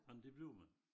Ej men det bliver man